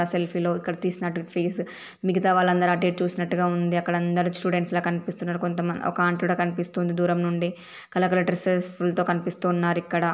Selfie లో ఇక్కడ తీసినట్టు ఇక్కడ ఫేస్ మిగతా వాళ్ళందరు అటు ఇట్ చూసినట్టుగా ఉంది. అక్కడందరూ స్టూడెంట్స్ లా కనిపిస్తున్నారు. కొంతమ ఒక ఆంటీడా కనిపిస్తుంది దూరం నుండి. కల-కలర్ డ్రెస్ లతో కనిపిస్తున్నారు ఇక్కడ.